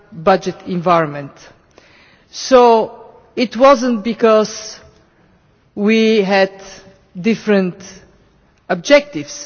budgetary environment. It was not because we had different objectives.